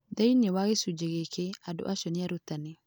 Thĩinĩ wa gĩcunjĩ gĩkĩ, andũ acio nĩ arutani.